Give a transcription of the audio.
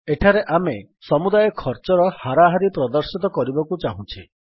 ଏଠାରେ ଆମେ ସମୁଦାୟ ଖର୍ଚ୍ଚର ହାରାହାରି ପ୍ରଦର୍ଶିତ କରିବାକୁ ଚାହୁଁଛେ